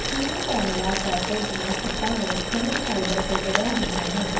ceiling ਪੈਨਲਾਂ cassette ਦੀਆਂ ਛੱਤਾਂ ਲਈ ਖਣਿਜ ਫਾਈਬਰ ਤੋਂ ਬਣੀਆਂ ਹੁੰਦੀਆਂ ਹਨ